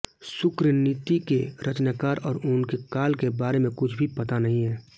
शुक्रनीति के रचनाकार और उनके काल के बारे में कुछ भी पता नहीं है